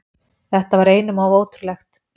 Þetta var einum of ótrúlegt.